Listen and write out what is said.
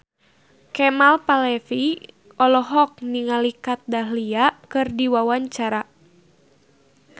Kemal Palevi olohok ningali Kat Dahlia keur diwawancara